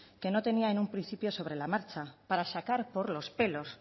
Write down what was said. que no tenía en un principio sobre la marcha para sacar por los pelos